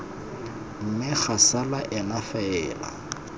mme ga sala ena fela